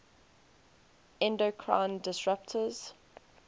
endocrine disruptors